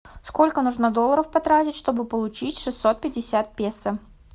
сколько нужно долларов потратить чтобы получить шестьсот пятьдесят песо